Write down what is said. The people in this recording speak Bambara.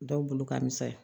Dɔw bolo ka misɛn